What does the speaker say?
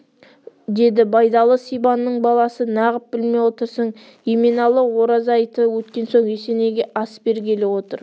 деді байдалы сибанның баласы нағып білмей отырсың еменалы ораза айты өткен соң есенейге ас бергелі отыр